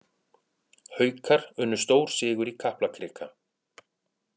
Haukar unnu stórsigur í Kaplakrika